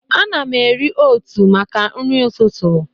Ana m eri ótụ̀ maka nri ụtụtụ.